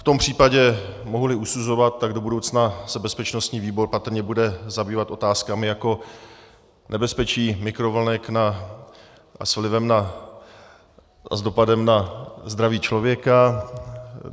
V tom případě, mohu-li usuzovat, tak do budoucna se bezpečnostní výbor patrně bude zabývat otázkami jako nebezpečí mikrovlnek s dopadem na zdraví člověka.